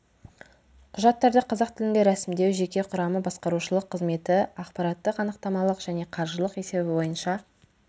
құжаттарды қазақ тілінде рәсімдеу жеке құрамы басқарушылық қызметі ақпараттық-анықтамалық және қаржылық есебі бойынша